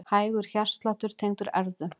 Hægur hjartsláttur tengdur erfðum